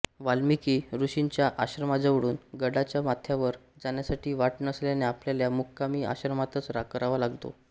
वाल्मिकी ऋषींच्या आश्रमाजवळून गडाच्या माथ्यावर जाण्यासाठी वाट नसल्याने आपल्याला मुक्काम आश्रमातच करावा लागतो